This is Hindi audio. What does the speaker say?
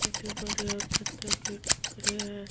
छोटे बड़े और पत्ते के टुकड़े हैं।